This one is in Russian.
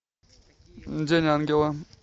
день ангела